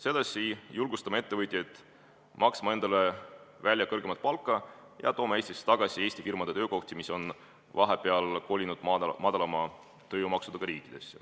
Sedasi julgustame ettevõtjaid maksma kõrgemat palka ja tooma Eestisse tagasi Eesti firmade töökohti, mis on vahepeal kolinud madalama tööjõumaksuga riikidesse.